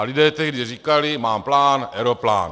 A lidé tehdy říkali "má plán - aeroplán".